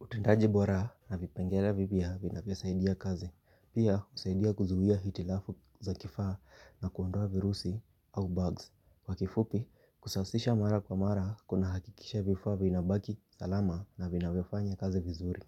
Utendaji bora na vipengelea vipya vinavyosaidia kazi. Pia husaidia kuzuia hitilafu za kifaa na kuondoa virusi au bugs. Kwa kifupi, kusasisha mara kwa mara, kuna hakikisha vifaa vinabaki, salama na vinavyofanya kazi vizuri.